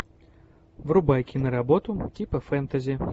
врубай киноработу типа фэнтези